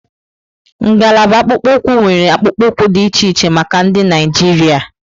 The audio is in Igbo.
Ngalaba akpụkpọ ụkwụ nwéré akpụkpọ ụkwụ dị iche iche maka ndị Naijiria.